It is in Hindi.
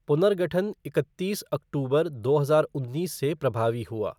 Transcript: पुनर्गठन इकत्तीस अक्टूबर दो हजार उन्नीस से प्रभावी हुआ।